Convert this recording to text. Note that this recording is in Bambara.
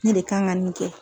Ne de kan ŋa nin kɛ